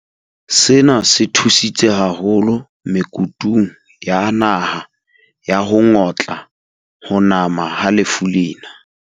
Sena se thusitse haholo me kutung ya naha ya ho ngotla ho nama ha lefu lena.